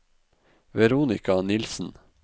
Veronika Nielsen